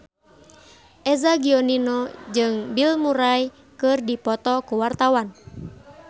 Eza Gionino jeung Bill Murray keur dipoto ku wartawan